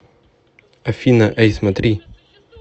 афина эй смотри